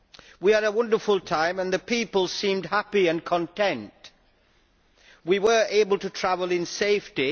We had a wonderful time, the people seemed happy and content, and we were able to travel in safety.